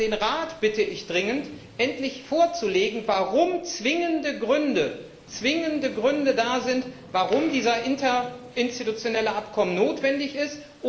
Und den Rat bitte ich dringend, endlich darzulegen, warum zwingende Gründe da sind, warum dieses interinstitutionelle Abkommen notwendig ist.